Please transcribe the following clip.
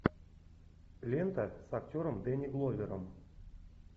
лента с актером дэнни гловером